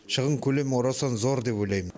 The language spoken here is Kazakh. шығын көлемі орасан зор деп ойлаймын